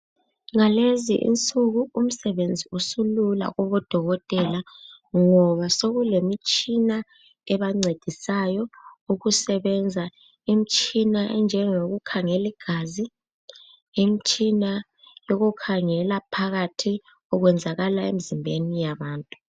Ngalezi insuku umsebenzi usulula kubodokotela ngoba sokulemitshina ebancedisayo ukusebenza. Imitshina enjengeyokukhangela igazi, imitshina yokukhangela phakathi okwenzakala emzimbeni yabantu.